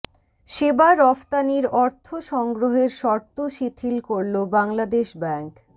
সেবা রফতানির অর্থ সংগ্রহের শর্ত শিথিল করলো বাংলাদেশ ব্যাংক